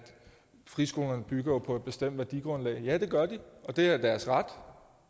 friskolerne bygger på et bestemt værdigrundlag og ja det gør de og det er deres ret og